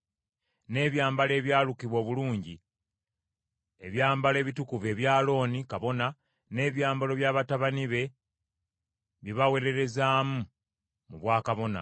n’ebyambalo ebyalukibwa obulungi, ebyambalo ebitukuvu ebya Alooni, kabona, n’ebyambalo bya batabani be bye baweererezaamu mu bwakabona;